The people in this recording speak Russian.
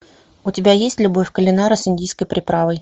у тебя есть любовь кулинара с индийской приправой